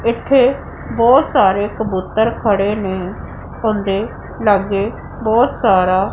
ਇੱਥੇ ਬਹੁਤ ਸਾਰੇ ਕਬੂਤਰ ਖੜੇ ਨੇਂ ਓਹਨਾਂ ਦੇ ਲੱਗੇ ਬਹੁਤ ਸਾਰਾ--